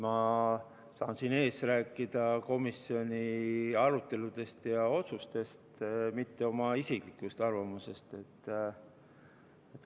Ma saan siin ees rääkida komisjoni aruteludest ja otsustest, mitte oma isiklikust arvamusest.